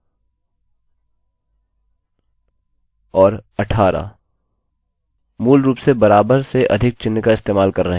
मूलरूप से equals बराबर और greater than सेअधिक चिह्न> का इस्तेमाल कर रहे हैं